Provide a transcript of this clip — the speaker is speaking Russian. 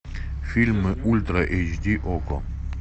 фильмы ультра эйч ди окко